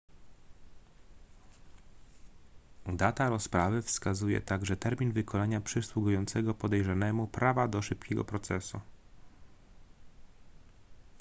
data rozprawy wskazuje także termin wykonania przysługującego podejrzanemu prawa do szybkiego procesu